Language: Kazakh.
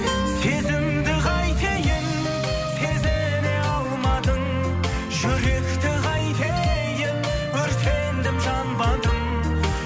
сезімді қайтейін сезіне алмадың жүректі қайтейін өртендім жанбадым